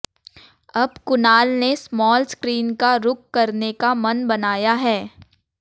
अब कुणाल ने small screen का रुख करने का मन बनाया है